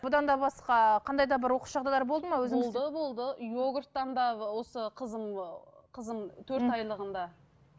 бұдан да басқа қандай да бір оқыс жағдайлар болды ма өзіңіз болды болды йогурттан да осы қызым ы қызым төрт айлығында